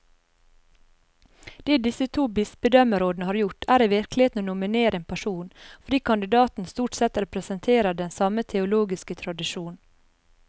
Det disse to bispedømmerådene har gjort, er i virkeligheten å nominere én person, fordi kandidatene stort sett representerer den samme teologiske tradisjon.